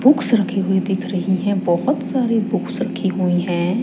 Books रखी हुई दिख रही हैं बहोत सारे बुक्स रखी हुई हैं।